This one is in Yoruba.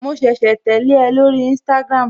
Mo ṣẹ̀ṣẹ̀ tẹ́lẹ̀ ẹ lórí instagram